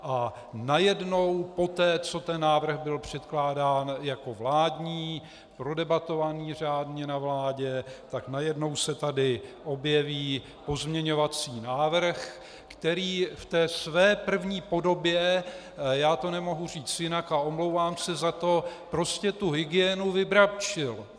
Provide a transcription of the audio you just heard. A najednou poté, co ten návrh byl předkládán jako vládní, prodebatovaný řádně na vládě, tak najednou se tady objeví pozměňovací návrh, který v té své první podobě, já to nemohu říct jinak a omlouvám se za to, prostě tu hygienu vybrabčil!